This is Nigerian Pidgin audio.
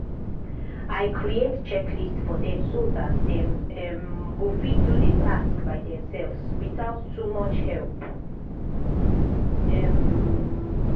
i create checklist for dem so dat dem um go fit do the task by theirselves without too much help. um